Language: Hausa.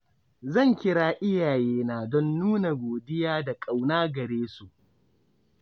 Zan kira iyayena don nuna godiya da ƙauna gare su.